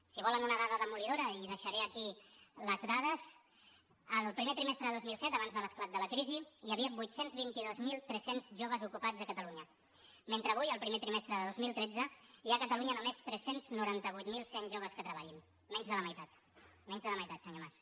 si volen una dada demolidora i deixaré aquí les dades al primer trimestre de dos mil set abans de l’esclat de la crisi hi havia vuit cents i vint dos mil tres cents joves ocupats a catalunya mentre avui al primer trimestre de dos mil tretze hi ha catalunya només tres cents i noranta vuit mil cent joves que treballin menys de la meitat menys de la meitat senyor mas